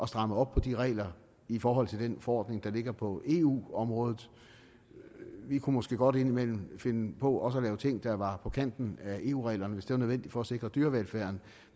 stramme op på de regler i forhold til den forordning der ligger på eu området vi kunne måske godt indimellem finde på at lave ting der var på kanten af eu reglerne hvis det var nødvendigt for at sikre dyrevelfærden